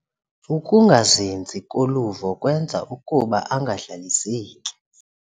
Ukungazinzi koluvo kwenza ukuba angahlaliseki.